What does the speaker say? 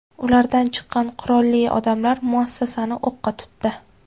Ulardan chiqqan qurolli odamlar muassasani o‘qqa tutdi.